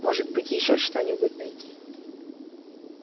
может быть ещё что-нибудь найти